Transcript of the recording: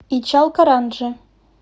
ичалкаранджи